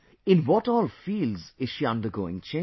In what all fields is she undergoing change